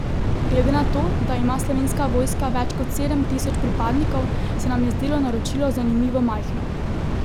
Glede na to, da ima Slovenska vojska več kot sedem tisoč pripadnikov, se nam je zdelo naročilo zanimivo majhno.